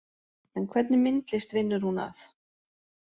En hvernig myndlist vinnur hún að